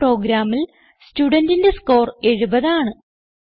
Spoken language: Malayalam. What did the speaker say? ഈ പ്രോഗ്രാമിൽ സ്റ്റുഡന്റിന്റെ സ്കോർ 70 ആണ്